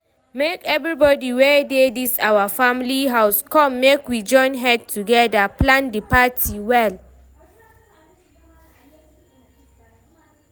make everybody wey dey dis our family house come make we join head togeda plan the party well